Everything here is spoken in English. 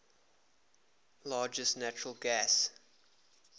largest natural gas